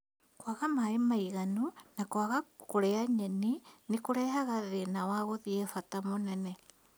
Kwaga maaĩ maiganu na kwaga kũrĩa nyeni nĩ kũrehaga thĩna wa gũthiĩ bata mũnene